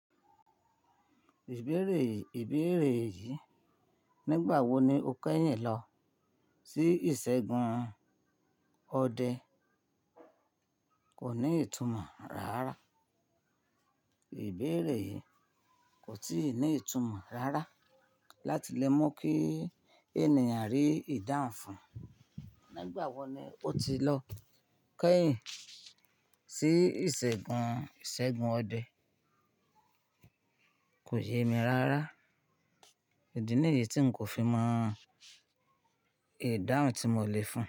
Ìbéèrè, ìbéèrè yìí, nígbà wo ni ó kẹ́yìn lọ sí ìṣègùn ọdẹ kò ní ìtumọ̀ rárá. Ìbéèrè yìí kò tí ì ní ìtumọ̀ rárá láti lè mọ̀ kí ènìyàn rí ìdáhùn fún. Nígbà wo ni ó ti lọ kẹ́yìn sí ìṣègùn, ìṣègùn ọdẹ kò yé mi rárá. Idi níyì tí n kò fi mọ ìdáhùn tí mo lè fún.